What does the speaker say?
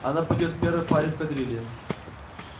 она пойдёт в первой паре в кадрили